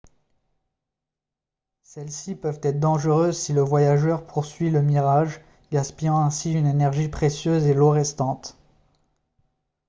celles-ci peuvent être dangereuses si le voyageur poursuit le mirage gaspillant ainsi une énergie précieuse et l'eau restante